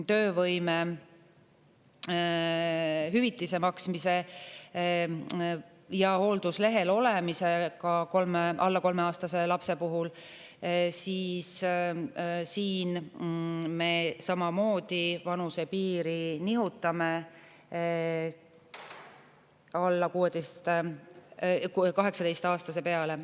Töövõimetushüvitise maksmise ja hoolduslehel olemise korral, ka alla 3-aastase lapse puhul, me samamoodi nihutame vanusepiiri 18 aasta peale.